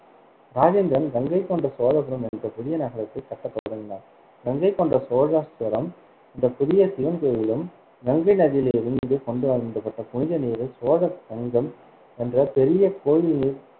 ராஜேந்திரன் கங்கைகொண்ட சோழபுரம் என்ற புதிய நகரத்தைக் கட்டத் தொடங்கினார், கங்கைகொண்ட சோழேஸ்வரம் என்ற புதிய சிவன் கோயிலும், கங்கை நதியிலிருந்து கொண்டு வந்தப்பட்ட புனித நீரே சோழ கங்கம் என்ற பெரிய கோயில் நீர்